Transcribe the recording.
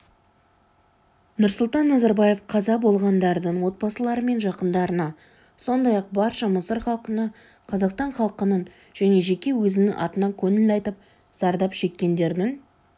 нұрсұлтан назарбаев қаза болғандардың отбасылары мен жақындарына сондай-ақ барша мысыр халқына қазақстан халқының және жеке өзінің атынан көңіл айтып зардап шеккендердің